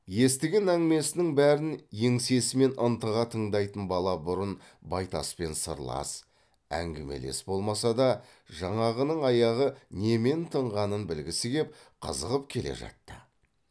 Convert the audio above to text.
естіген әңгімесінің бәрін еңсесімен ынтыға тыңдайтын бала бұрын байтаспен сырлас әңгімелес болмаса да жаңағының аяғы немен тынғанын білгісі кеп қызығып келе жатты